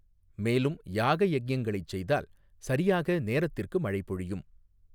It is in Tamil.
மேலும் யாக யஞங்களை செய்தால் சரியாக நேரத்திற்கு மழை பொழியும்.